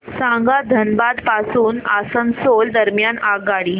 सांगा धनबाद पासून आसनसोल दरम्यान आगगाडी